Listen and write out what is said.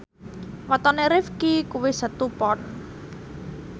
wetone Rifqi kuwi Setu Pon